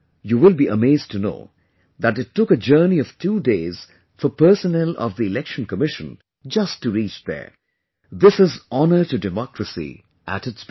You will be amazed to know that it took a journey of two days for personnel of the Election Commission, just to reach there... this is honour to democracy at its best